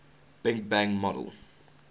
big bang model